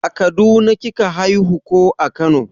A kaduna kika haihu ko a kano?